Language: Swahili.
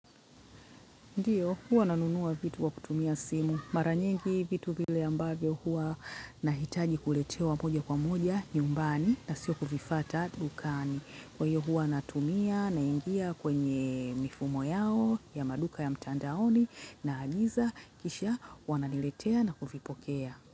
Ndiyo, huwa nanunua vitu wa kutumia simu. Mara nyingi vitu vile ambavyo huwa nahitaji kuletewa moja kwa moja nyumbani na sio kuvifuata dukani. Kwa hiyo huwa natumia naingia kwenye mifumo yao ya maduka ya mtandaoni naagiza kisha wananiletea na kuvipokea.